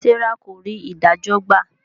Serah kò rí idajọ gbà.